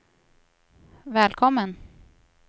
välkommen